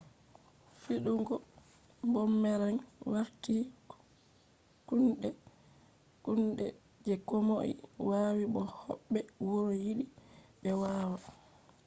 fidugo boomerang warti kunde je komoi wawi bo hobbe wuro yidi be wawa